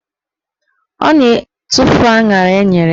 Ọ na-etufu aṅara enyere ya.